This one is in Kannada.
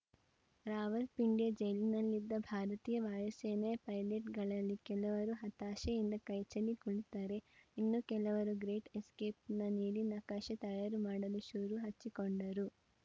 ರಾವಲ್ಪಿಂಡಿಯ ಜೈಲಿನಲ್ಲಿದ್ದ ಭಾರತೀಯ ವಾಯುಸೇನೆಯ ಪೈಲಟ್‌ಗಳಲ್ಲಿ ಕೆಲವರು ಹತಾಶೆಯಿಂದ ಕೈಚೆಲ್ಲಿ ಕುಳಿತರೆ ಇನ್ನು ಕೆಲವರು ಗ್ರೇಟ್‌ ಎಸ್ಕೇಪ್‌ನ ನೀಲಿನಕಾಶೆ ತಯಾರು ಮಾಡಲು ಶುರುಹಚ್ಚಿಕೊಂಡರು